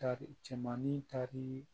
Tari cɛmannin tari